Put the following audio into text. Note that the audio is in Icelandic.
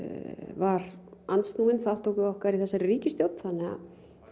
var andsnúinn þátttöku okkar í þessari ríkisstjórn þannig að